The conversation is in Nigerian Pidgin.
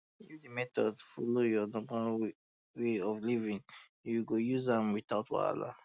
if um the method follow your normal um way of living you go use am without wahala